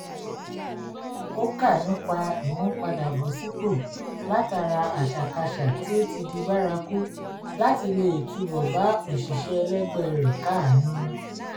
ó kà nípa ìmúpadàbọ̀sípò látara àṣàkáṣà tí ó ti di bárakú láti lè túbọ̀ bá òṣìṣẹ́ ẹlẹgbẹ́ rẹ̀ káàánú